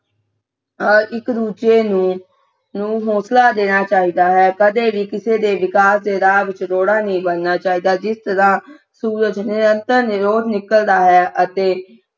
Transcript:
ਅਹ ਇਕ ਦੂੱਜੇ ਨੂੰ ਨੂੰ ਹੌਂਸਲਾ ਦੇਣਾ ਚਾਹੀਦਾ ਹੈ ਕਦੇ ਵੀ ਕਿਸੇ ਦੇ ਵਿਕਾਸ ਦੇ ਰਾਹ ਵਿਚ ਰੋੜਾ ਨਹੀਂ ਬਣਨਾ ਚਾਹੀਦਾ ਜਿਸ ਤਰ੍ਹਾਂ ਸੂਰਜ ਨਿਰੰਤਰ ਰੋਜ ਨਿਕਲਦਾ ਹੈ ਅਤੇ